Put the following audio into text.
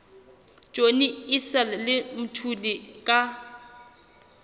johnny issel le mthuli ka